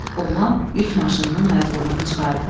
Oğlan yük maşınının ayaqlığını çıxardı.